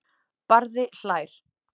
Barði hlær.